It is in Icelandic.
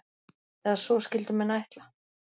Eða svo skyldu menn ætla.